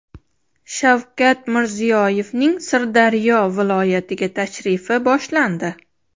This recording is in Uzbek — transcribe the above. Shavkat Mirziyoyevning Sirdaryo viloyatiga tashrifi boshlandi.